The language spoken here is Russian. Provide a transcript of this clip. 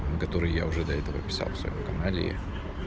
который я уже до этого писал в своём канале